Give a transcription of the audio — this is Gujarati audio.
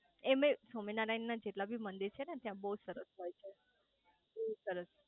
એમેય સ્વામિનારાયણ ના જેટલા બી મંદિર છે ને ત્યાં બઉ જ સરસ હોય છે બઉ જ સરસ